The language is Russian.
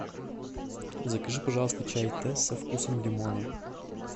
закажи пожалуйста чай тесс со вкусом лимона